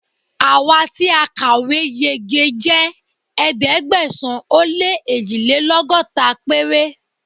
Àwa tí a kàwé yege jẹ́ ẹ̀ẹ́dẹ́gbẹ̀sán-ó-lé-èjìlélọ́gọ́ta péré.